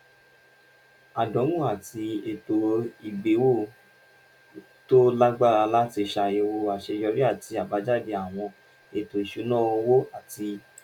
àdánwò àti ètò ìgbéwò tó lágbára láti ṣàyẹ̀wò àṣeyọrí àti àbájáde àwọn ètò ìṣúnná owó àti